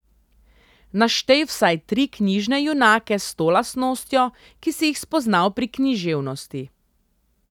Naštej vsaj tri knjižne junake s to lastnostjo, ki si jih spoznal pri književnosti.